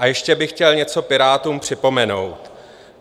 A ještě bych chtěl něco Pirátům připomenout.